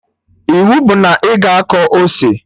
Iwu bụ na ị ga akọ ose!